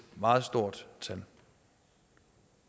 meget stort tal